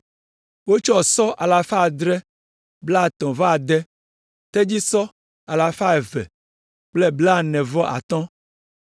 Wotsɔ sɔ alafa adre kple blaetɔ̃ vɔ ade (736), tedzisɔ alafa eve kple blaene-vɔ-atɔ̃ (245),